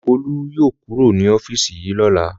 Olú yóò kúrò ní ọ́fíísì yìí lọ́la!